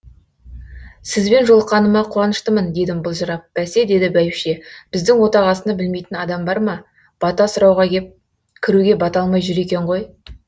сізбен жолыққаныма қуаныштымын дедім былжырап бәсе деді бәйбіше біздің отағасыны білмейтін адам бар ма бата сұрауға кеп кіруге бата алмай жүр екен ғой